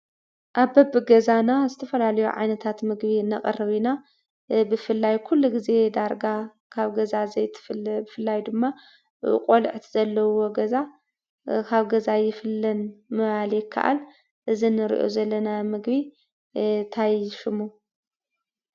ኣብ በቢ ገዛና ዝተፈላለዩ ዓይነታት ምግቢ ነቕርብ ኢና ብፍላይ ኩሉ ግዜ ዳርጋ ካብ ገዛ ዘይትፍለ ብፈላይ ድማ ቆልዑት ዘለውዎ ገዛ ካብ ገዛ ኣይፍለን ምባል ይከኣል። እዚ እንሪኦ ዘለና ምግቢ ታይ ሽሙ?